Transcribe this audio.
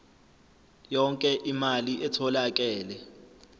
yonke imali etholakele